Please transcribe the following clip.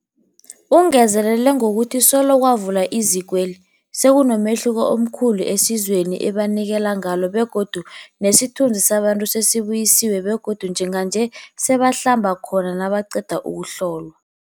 Ungezelele ngokuthi solo kwavulwa izikweli, sekunomehluko omkhulu esizweni ebanikelana ngalo begodu nesithunzi sabantu sesibuyisiwe begodu njenganje sebangahlamba khona nabaqeda ukuhlolwa.